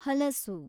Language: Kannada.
ಹಲಸು